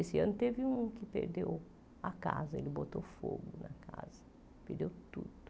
Esse ano teve um que perdeu a casa, ele botou fogo na casa, perdeu tudo.